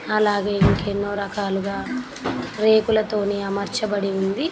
అలాగే ఇంకా ఎన్నో రకాలుగా రేకుల తోని అమర్చబడి ఉంది.